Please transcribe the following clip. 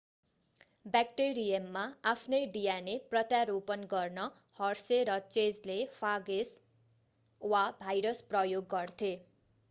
ब्याक्टेरियममा आफ्नै dna प्रत्यारोपण गर्न हर्से र चेजले फागेस वा भाइरस प्रयोग गर्थे